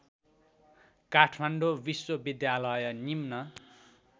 काठमाडौँ विश्वविद्यालय निम्न